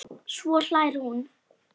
Svo hlær hún.